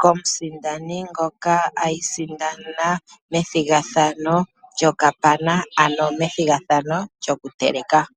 komusindani ngoka asindana methigathano lyokapana ano methigathano lyokuteleka.